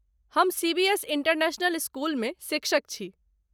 हम CBS international स्कूलमे शिक्षक छी।